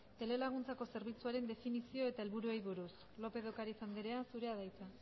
telelaguntzako zerbitzuaren definizio eta helburuei buruz lópez de ocariz andrea zurea da hitza